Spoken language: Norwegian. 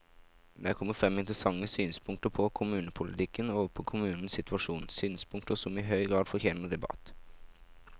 Det er kommet frem interessante synspunkter på kommunepolitikken og på kommunenes situasjon, synspunkter som i høy grad fortjener debatt.